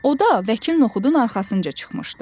O da vəkil Noxudun arxasınca çıxmışdı.